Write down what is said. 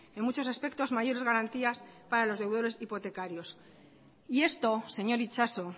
en muchos aspectos mayores garantías para los deudores hipotecarios y esto señor itxaso